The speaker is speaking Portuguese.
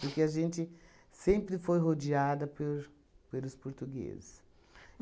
Porque a gente sempre foi rodeada por pelos portugueses.